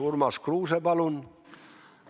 Urmas Kruuse, palun!